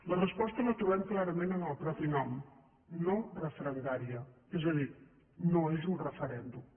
la resposta la trobem clarament en el mateix nom no referendària és a dir no és un referèndum